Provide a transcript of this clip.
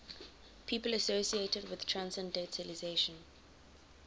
people associated with transcendentalism